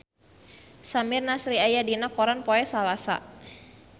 Samir Nasri aya dina koran poe Salasa